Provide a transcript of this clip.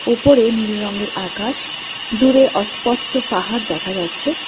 ওপরে নীল রঙের আকাশ দূরে অস্পষ্ট পাহাড় দেখা যাচ্ছে।